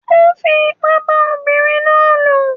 Ó fi ipá bá ọmọbìnrin náà lò.